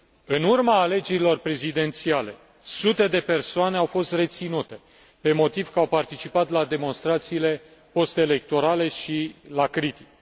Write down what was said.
În urma alegerilor prezidențiale sute de persoane au fost reținute pe motiv că au participat la demonstrațiile postelectorale și la critică.